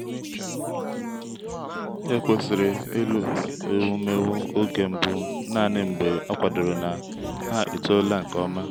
ekwesịrị ịlụ ewumewụ oge mbụ naanị mgbe a kwadoro na ha etoola nke ọma.